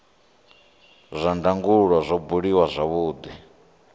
zwa ndangulo zwo buliwa zwavhudi